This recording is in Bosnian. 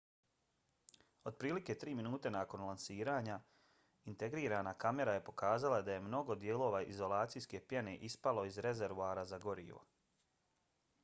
otprilike tri minute nakon lansiranja integrirana kamera je pokazala da je mnogo dijelova izolacijske pjene ispalo iz rezervoara za gorivo